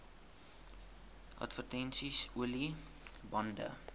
advertensies olie bande